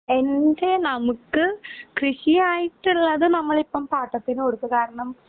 എൻറെ നമുക്ക് കൃഷി ആയിട്ടുള്ളത് നമ്മളിപ്പം പാട്ടത്തിനു കൊടുത്തു. കാരണം